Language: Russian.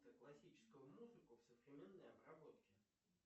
классическую музыку в современной обработке